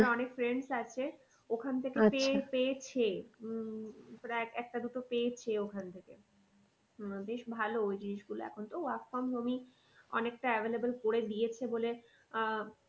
friends আছে ওখান থেকে পেয়েছে। উম প্রায় একটা দুটো পেয়েছে ওখান থেকে। উম বেশ ভালো ওই জিনিস গুলো এখন তো work from home ই অনেকটা available করে দিয়েছে বলে আহ